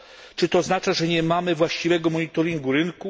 Czy to oznacza, że nie mamy właściwego monitoringu rynku?